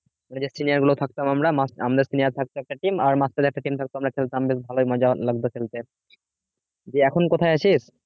যে senior গুলো থাকতাম আমরা আমরা senior থাকত একটা team আর মাস্টারের একটা team থাকতো আমরা খেলতাম বেশ ভালই মজা লাগত খেলতে যে এখন কোথায় আছিস?